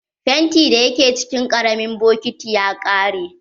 Fenti da ya ke cikin ƙaramin bokiti ya ƙare.